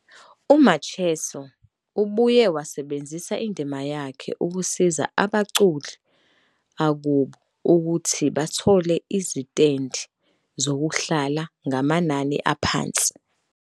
UMacheso ubuye wasebenzisa indima yakhe ukusiza abaculi akubo ukuthi bathole izitendi zokuhlala ngamanani aphansi.